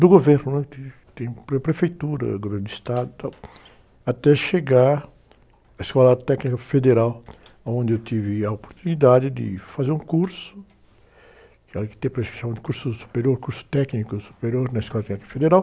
do Governo, né? Tem, tem para a Prefeitura, Governo do Estado e tal, até chegar à Escola Técnica Federal, onde eu tive a oportunidade de fazer um curso, que naquele tempo a gente chamava de curso superior, curso técnico superior na Escola Técnica Federal.